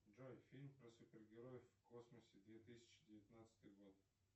джой фильм про супер героев в космосе две тысячи девятнадцатый год